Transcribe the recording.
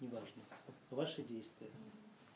неважно ваши действия